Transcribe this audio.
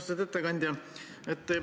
Austatud ettekandja!